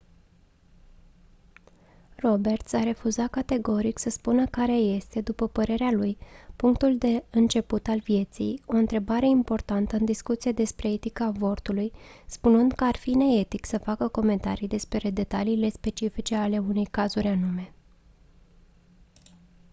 roberts a refuzat categoric să spună care este după părerea lui punctul de început al vieții o întrebare importantă în discuția despre etica avortului spunând că ar fi neetic să facă comentarii despre detaliile specifice ale unor cazuri anume